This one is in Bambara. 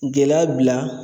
Gɛlɛya bila